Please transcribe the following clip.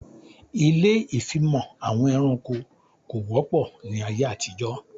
Ilé ìfimọ̀ àwọn ẹranko kò wọ́pọ̀ ní ayé àtijó